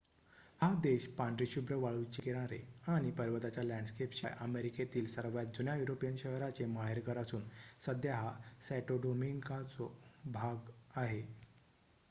हा देश पांढरेशुभ्र वाळूंचे किनारे आणि पर्वताच्या लँडस्केपशिवाय अमेरिकेतील सर्वात जुन्या युरोपियन शहराचे माहेरघर असून सध्या हा सॅंटो डोमिंगोचा भाग आहे